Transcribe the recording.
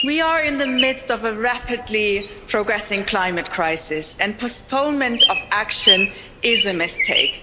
We are in the midst of a rapidly progressing climate crisis and postponement of action is a mistake.